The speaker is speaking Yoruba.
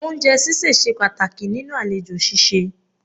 Oúnjẹ ṣíṣẹ̀ ṣe pàtàkì nínú àlejò ṣíṣe